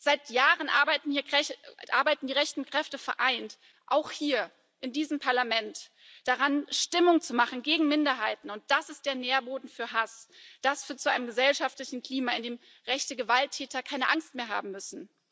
Seit Jahren arbeiten die rechten Kräfte vereint auch hier in diesem Parlament daran, Stimmung zu machen gegen Minderheiten, und das ist der Nährboden für Hass, das führt zu einem gesellschaftlichen Klima, in dem rechte Gewalttäter keine Angst mehr haben müssen.